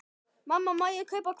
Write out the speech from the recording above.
Mamma, má ég kaupa hvolp?